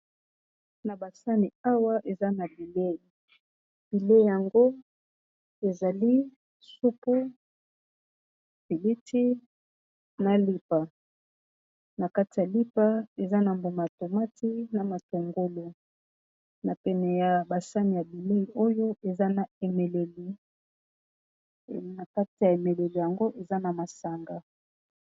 Na ba sani awa eza na bilei bilei yango ezali supu piliti na lipa na kati ya lipa eza na mbuma tomati na matungulu na pene ya basani ya bilei oyo eza na emeleli na kati ya emeleli yango eza na masanga.